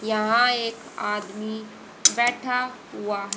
यहां एक आदमी बैठा हुआ--